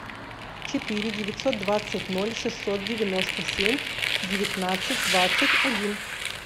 четыре девятьсот двадцать ноль шестьсот девяносто семь девятнадцать двадцать один